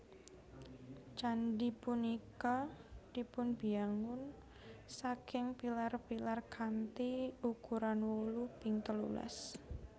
Candhi punika dipunbiyangun saking pilar pilar kanthi ukuran wolu ping telulas